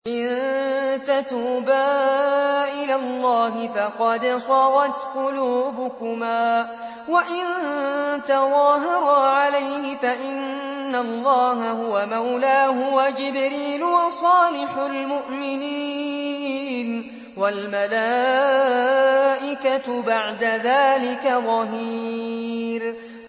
إِن تَتُوبَا إِلَى اللَّهِ فَقَدْ صَغَتْ قُلُوبُكُمَا ۖ وَإِن تَظَاهَرَا عَلَيْهِ فَإِنَّ اللَّهَ هُوَ مَوْلَاهُ وَجِبْرِيلُ وَصَالِحُ الْمُؤْمِنِينَ ۖ وَالْمَلَائِكَةُ بَعْدَ ذَٰلِكَ ظَهِيرٌ